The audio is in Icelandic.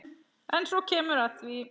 En svo kemur að því.